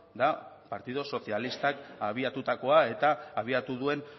da partido socialistak abiatutakoa eta abiatu duen